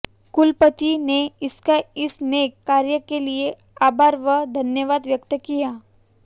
कुलपति ने इनका इस नेक कार्य के लिए आभार व धन्यवाद व्यक्त किया